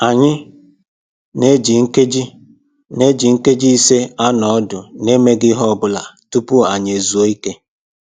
Anyị na-eji nkeji na-eji nkeji ise anọ ọdụ na-emeghị ihe ọbụla tupu anyị ezuo ike